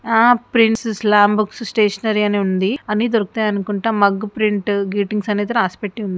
ఆ prints slam book stationery అని ఉంది. అన్ని దొరుకుతాయి అనుకుంటా. మగ్గు ప్రింట్ గ్రీటింగ్స్ అని అయితే రాసిపెట్టి ఉంది.